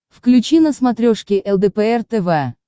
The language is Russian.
включи на смотрешке лдпр тв